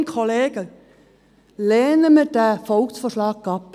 Kolleginnen und Kollegen, lehnen wir diesen Volksvorschlag ab.